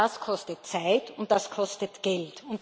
Das kostet Zeit, und das kostet Geld.